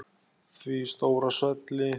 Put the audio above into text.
Því stóra svelli.